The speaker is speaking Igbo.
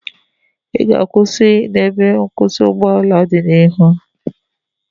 Ị ga-akwụsị n'ebe nkwụsị ụgbọala dị n'ihu?